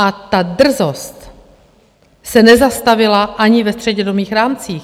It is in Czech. A ta drzost se nezastavila ani ve střednědobých rámcích.